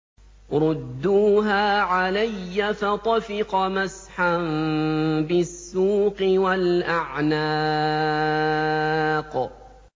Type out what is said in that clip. رُدُّوهَا عَلَيَّ ۖ فَطَفِقَ مَسْحًا بِالسُّوقِ وَالْأَعْنَاقِ